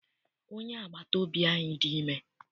Onye agbata obi anyị dị ime.